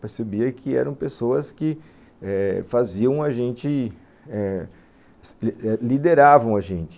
Percebia que eram pessoas que eh faziam a gente eh, lideravam a gente.